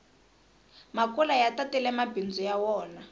makula ya tatile mabindzu ya wona